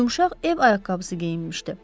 Yumşaq ev ayaqqabısı geyinmişdi.